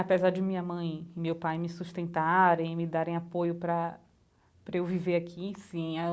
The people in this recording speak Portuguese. Apesar de minha mãe e meu pai me sustentarem, me darem apoio para para eu viver aqui, sim.